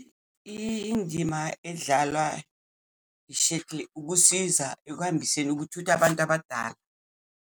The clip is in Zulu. Indima edlalwa i-shuttle ukusiza ekuhambiseni ukuthutha abantu abadala.